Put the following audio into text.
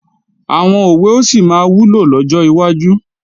Àwọn òwe ó sì máa wúlò lọ́jọ́ wájú